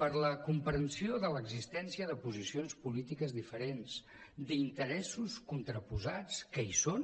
per la comprensió de l’existència de posicions polítiques diferents d’interessos contraposats que hi són